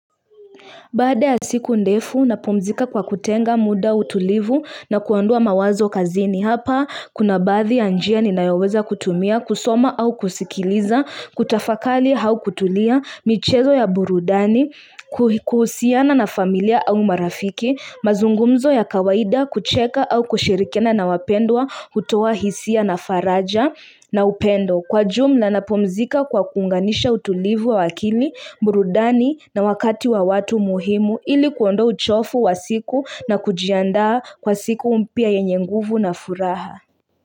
Baada ya siku ndefu, napumzika kwa kutenga muda utulivu na kuondoa mawazo kazini. Hapa, kuna baadhi ya njia ninayoweza kutumia, kusoma au kusikiliza, kutafakali hau kutulia, michezo ya burudani, kuhusiana na familia au marafiki, mazungumzo ya kawaida, kucheka au kushirikiana na wapendwa, hutoa hisia na faraja na upendo. Kwa jumla napumzika kwa kuunganisha utulivu wa akili, burudani na wakati wa watu muhimu ili kuondoa uchofu wa siku na kujiandaa kwa siku mpya yenye nguvu na furaha.